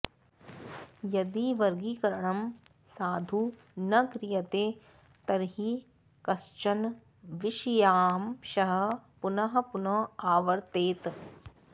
यदि वर्गीकरणं साधु न क्रियते तर्हि कश्चन विषयांशः पुनः पुनः आवर्तेत